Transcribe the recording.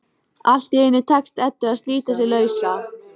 Allt í einu tekst Eddu að slíta sig lausa.